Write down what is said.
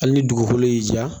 Hali ni dugukolo y'i diya